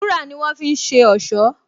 Wúrà ni wọ́n fi ń ṣe ọ̀ṣọ́